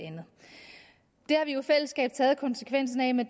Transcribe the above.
har vi jo i fællesskab taget konsekvensen af med